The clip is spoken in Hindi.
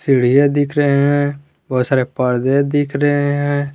सीढ़िए दिख रहे हैं बहुत सारे पर्दे दिख रहे हैं।